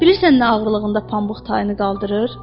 Bilirsən nə ağırlığında pambıq tayını qaldırır?